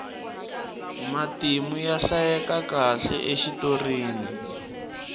matimu ya hlayekakahle exitorini